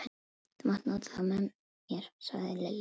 Þú mátt nota þá með mér sagði Lilla.